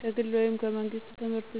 ከግል ወይም ከመንግሥት